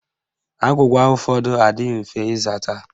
Agwụgwa ụfọdụ adịghị mfe ịzata